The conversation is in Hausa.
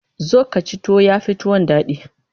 Zo ka ci tuwo, ya fi tuwon daɗi.